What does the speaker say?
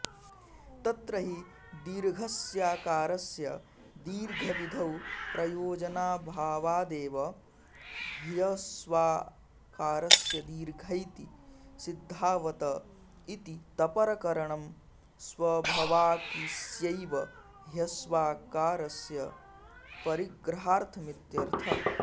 तत्र हि दीर्घस्याकारस्य दीर्घविधौ प्रयोजनाऽभावादेव ह्यस्वाकारस्य दीर्घैति सिद्धावत इति तपरकरणं स्वाभवाकिस्यैव ह्यस्वाकारस्य परिग्रहार्थमित्यर्थः